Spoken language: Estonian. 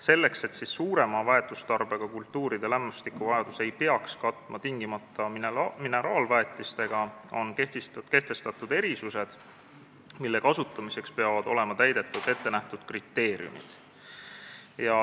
Selleks et suurema väetustarbega kultuuride lämmastikuvajadust ei peaks katma tingimata mineraalväetistega, on kehtestatud erisused, mille kasutamiseks peavad olema täidetud ettenähtud kriteeriumid.